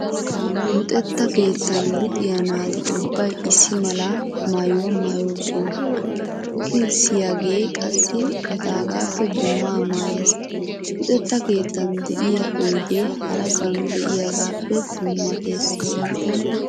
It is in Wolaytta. Luxetta keettan luxxiyaa naati ubbay issi mala maayuwaa maayoosona, luxissiyaagee qassi etaagaappe dummaa maayees. Luxetta keettan de'iyaa oydee harasaani de'iyaagaappe dummatees.